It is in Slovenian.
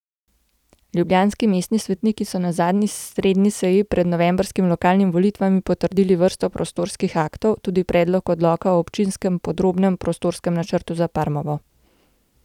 Ljubljanski mestni svetniki so na zadnji redni seji pred novembrskimi lokalnimi volitvami potrdili vrsto prostorskih aktov, tudi predlog odloka o občinskem podrobnem prostorskem načrtu za Parmovo.